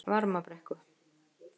Varmabrekku